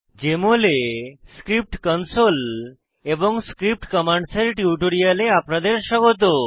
JML এ script console এবং script commands এর টিউটোরিয়ালে আপনাদের স্বাগত